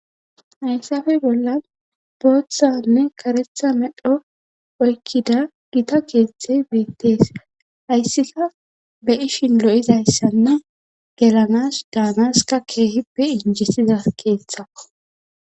Hayssafe bolla booththanne karetha medho oykkida gita keeththey beettees hayssika be ishin lo'izayssanna gelanas daanaska keehippe injisiza keeththa.